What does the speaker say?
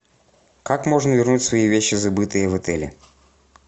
как можно вернуть свои вещи забытые в отеле